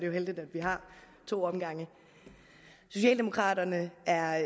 jo heldigt at vi har to omgange socialdemokraterne er